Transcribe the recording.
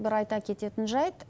бір айта кететін жайт